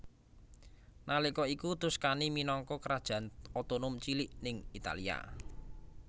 Nalika iku Tuscany minangka kerajaan otonom cilik ing Italia